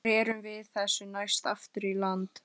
Rerum við þessu næst aftur í land.